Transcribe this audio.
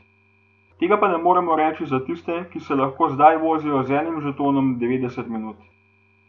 Tega pa ne moremo reči za tiste, ki se lahko zdaj vozijo z enim žetonom devetdeset minut.